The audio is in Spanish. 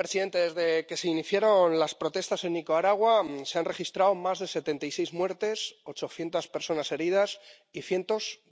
presidente, desde que se iniciaron las protestas en Nicaragua se han registrado más de setenta y seis muertes, ochocientas personas heridas y cientos de detenidos.